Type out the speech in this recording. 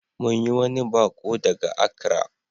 Mun yi wani baƙo daga Accra.